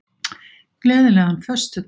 Gleðilegan föstudag.